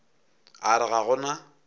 a re ga go na